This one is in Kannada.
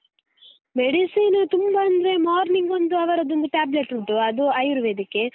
medicine ತುಂಬಾ ಅಂದ್ರೆ, morning ಒಂದು ಅವರದ್ದು ಒಂದು tablet ಉಂಟು ಅದು ಆಯುರ್ವೆದಿಕ್ಕೇ.